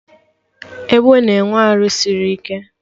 Ebe na-enwe arụ sịrị ike